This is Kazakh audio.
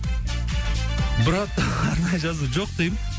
бірақ арнайы жазу жоқ деймін